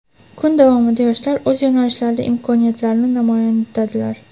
Kun davomida yoshlar o‘z yo‘nalishlarida imkoniyatlarini namoyon etdilar.